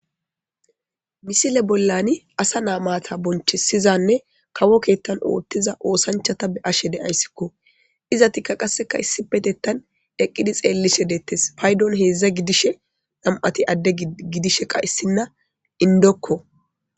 misile bollani asanaa maata bonchisizanne kawo keettan oothtiza oosanchata be7ashe de7ayssikko izatikka qasseka issipetettan eqqidi xeellishe deettes paydon heedzdza gidishe nam7ati adde gidishe qayssinna indokko